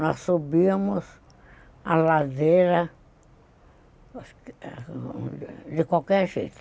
Nós subíamos a ladeira de qualquer jeito.